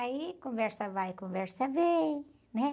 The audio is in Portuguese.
Aí, conversa vai, conversa vem, né?